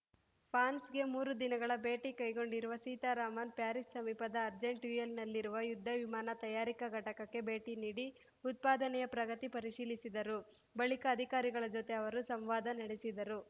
ಫಾನ್ಸ್‌ಗೆ ಮೂರು ದಿನಗಳ ಭೇಟಿ ಕೈಗೊಂಡಿರುವ ಸೀತಾರಾಮನ್‌ ಪ್ಯಾರಿಸ್‌ ಸಮೀಪದ ಅರ್ಜೆಂಟ್ಯೂಯಿಲ್‌ನಲ್ಲಿರುವ ಯುದ್ಧ ವಿಮಾನ ತಯಾರಿಕಾ ಘಟಕಕ್ಕೆ ಭೇಟಿ ನೀಡಿ ಉತ್ಪಾದನೆಯ ಪ್ರಗತಿ ಪರಿಶೀಲಿಸಿದರು ಬಳಿಕ ಅಧಿಕಾರಿಗಳ ಜೊತೆ ಅವರು ಸಂವಾದ ನಡೆಸಿದರು